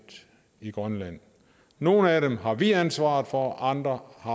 i grønland nogle af dem har vi ansvaret for og andre har